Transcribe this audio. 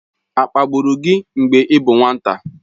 A kpagburu gị mgbe ị bụ nwata?